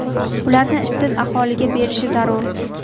ularni ishsiz aholiga berishi zarur.